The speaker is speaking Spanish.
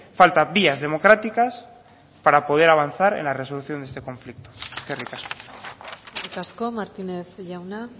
falta vías democráticas para poder avanzar en la resolución de este conflicto eskerrik asko eskerrik asko martínez jauna